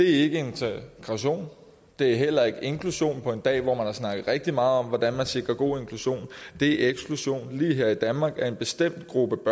ikke integration det er heller ikke inklusion på en dag hvor man har snakket rigtig meget om hvordan man sikrer god inklusion det er eksklusion lige her i danmark af en bestemt gruppe